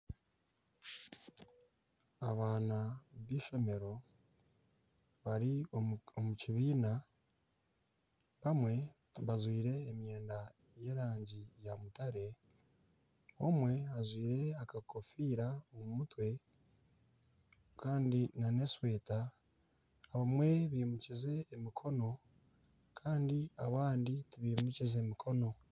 Abaana b'ishomero bari omu kibiina. Bamwe bajwire emwenda y'erangi ya mutare, omwe ajwire akakofiira omu mutwe kandi nana eshweta. Omwe ayimukize omukono kandi abandi tibimukize mikono.